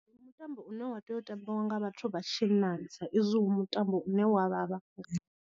Ndi mutambo une wa tea u tambiwa nga vhathu vha tshinnani sa izwi hu mutambo u ne wa vhavha nga.